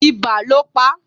Ibà ló pá